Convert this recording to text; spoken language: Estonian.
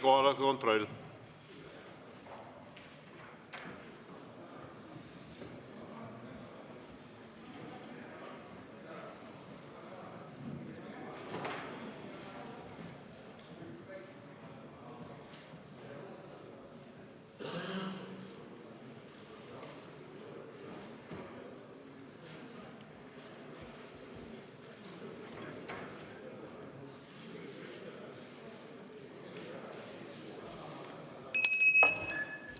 Kohaloleku kontroll!